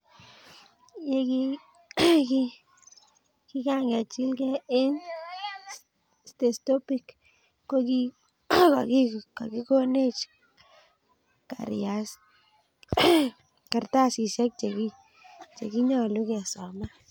Ye kingakechigilech eng stethoscopit, kokikikonech kartasisyek chekinyolu kesoman.